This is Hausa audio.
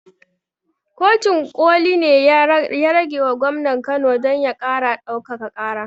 Kotun ƙoli ne ya ragewa gwamnan kano don ya ƙara ɗaukaka ƙara